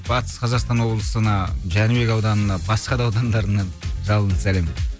батыс қазақстан облысына жәнібек ауданына басқа да аудандарына жалынды сәлем